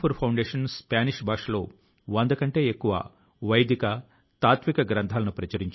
గతం లో ప్రభుత్వ కార్యాలయాల్లో పాత ఫైళ్లు కాగితాలు ఎక్కువగా ఉండేవన్న సంగతి మీ అందరికీ తెలిసిందే